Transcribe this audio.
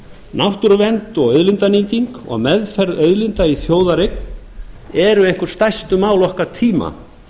náttúruvernd og auðlindanýting og meðferð auðlinda í þjóðareign eru einhver stærstu mál okkar tíma